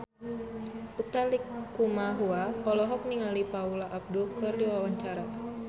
Utha Likumahua olohok ningali Paula Abdul keur diwawancara